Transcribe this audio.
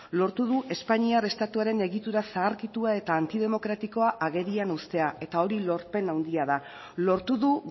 lortu du espainiar estatuaren egitura zaharkitua eta antidemokratikoa agerian ustea eta hori lorpen handia da lortu du